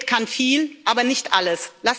Geld kann viel, aber nicht alles.